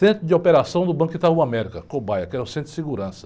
Centro de operação do Banco Itaú América, Cobaia, que era o centro de segurança.